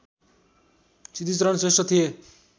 सिद्धिचरण श्रेष्ठ थिए